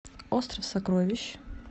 остров сокровищ